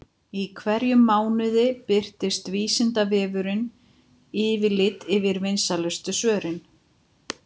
Í hverjum mánuði birtir Vísindavefurinn yfirlit yfir vinsælustu svörin.